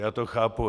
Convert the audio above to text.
Já to chápu.